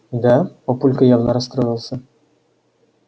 да папулька явно расстроился